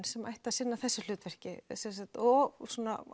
sem ættu að sinna þessu hlutverki og